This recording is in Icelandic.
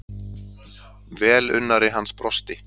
Velunnari hans brosti.